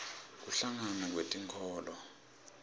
kuhlangana kwetinkholo